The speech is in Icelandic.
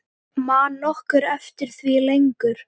Man nokkur eftir því lengur?